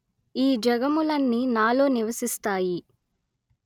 ఈ జగములన్నీ నాలో నివసిస్తాయి